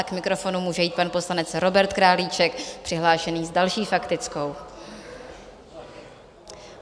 A k mikrofonu může jít pan poslanec Robert Králíček přihlášený s další faktickou.